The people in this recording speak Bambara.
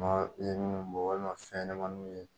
i ye minnu bɔ walima fɛnɲɛnamaninw ye